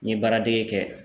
N ye baaradege kɛ